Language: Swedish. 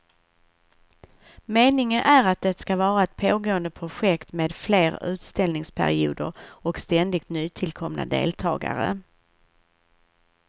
Meningen är att det ska vara ett pågående projekt med fler utställningsperioder och ständigt nytillkomna deltagare.